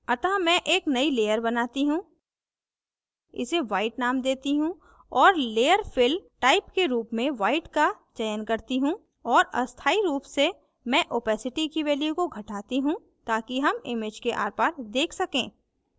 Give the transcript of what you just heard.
अतः मैं एक नई layer बनती हूँ इसे white name देती हूँ और layer fill type के रूप में white का चयन करती हूँ और अस्थाई रूप से मैं opacity की value को घटाती हूँ ताकि हम image के आरपार देख सकें